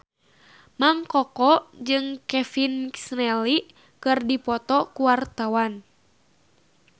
Mang Koko jeung Kevin McNally keur dipoto ku wartawan